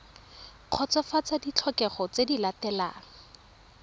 kgotsofatsa ditlhokego tse di latelang